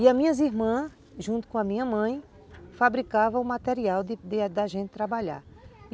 E as minhas irmãs, junto com a minha mãe, fabricavam o material da gente trabalhar.